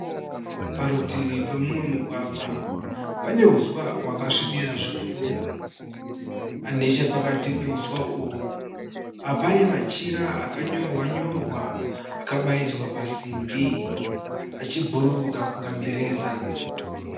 Parutivi pemumwe mugwagwa pane huswa hwakasvibira zvikuru. Nechepakati pe huswa uhwu pane machira aka nyorwa-nyorwa akabayirirwa pasimbi achibhururuka kunge mireza.